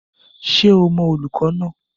Ṣé ò mọ olùkọ́ náà?